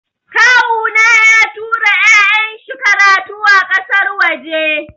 Kawuna ya tura ya'yan shi karatu a ƙasar waje.